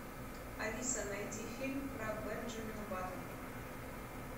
алиса найди фильм про бенджамина баттона